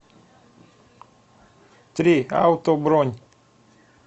три ауто бронь